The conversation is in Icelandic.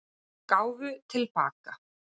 Gáfu til baka